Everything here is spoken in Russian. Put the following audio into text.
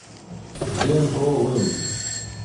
зенковым